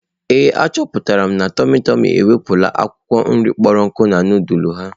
Ee, achọpụtara m na tụmị tụmị ewepụla akwụkwọ nri kpọrọ nku na nudulu ha.